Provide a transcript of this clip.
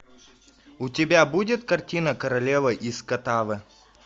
у тебя будет картина королева из катве